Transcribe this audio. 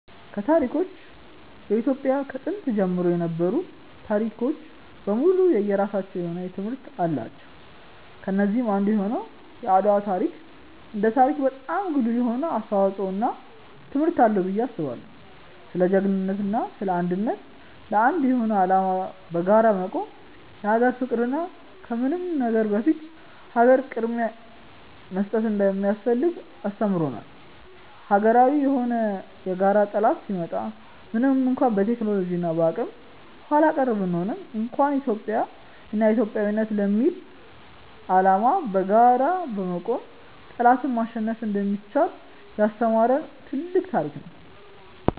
ከታሪኮች በኢትዮጵያ ከጥንት ጀምሮ የነበሩ ታሪኮች በሙሉ የየራሳቸው የሆነ ትምህርቶች አላቸው። ከነዚህም አንዱ የሆነው የአድዋ ታሪክ እንደ ታሪክ በጣም ጉልህ የሆነ አስተዋጽዖ እና ትምህርት አለው ብዬ አስባለው። ስለ ጅግንነት እና ስለ አንድነት፣ ለአንድ የሆነ አላማ በጋራ መቆም፣ የሀገር ፍቅር እና ከምንም ነገር በፊት ለሀገር ቅድምያ መስጠት እንደሚያስፈልግ አስተምሮናል። ሀገራዊ የሆነ የጋራ ጠላት ሲመጣ ምንም እንኳን በቴክኖሎጂ እና በአቅም ኃላቀር ብንሆንም እንኳን ኢትዮጵያ እና ኢትዮጵያዊነት ለሚል አላማ በጋራ በመቆም ጠላትን ማሸነፍ እንደሚቻል ያስተማሪን ትልቅ ታሪክ ነው።